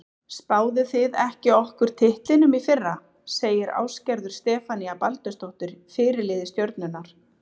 Spáðuð þið ekki okkur titlinum í fyrra? segir Ásgerður Stefanía Baldursdóttir, fyrirliði Stjörnunnar.